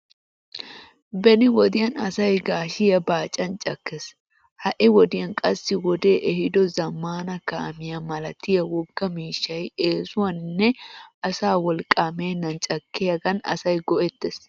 Beni wodiyan asay gaashiyaa baacan cakkes. Ha"i wodiyan qassi wodee ehido zammaana kaamiyaa malatiya wogga miishshay eesuwaaninne asaa wolqqaa meennan caakkiyaagan asay go"ettees.